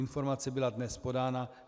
Informace byla dnes podána.